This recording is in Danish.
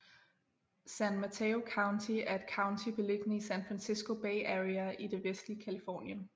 San Mateo County er et county beliggende i San Francisco Bay Area i det vestlige Californien